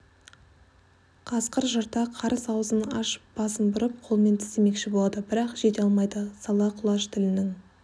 қасқыр жырта қарыс аузын ашып басын бұрып қолынан тістемекші болады бірақ жете алмайды сала құлаш тілінің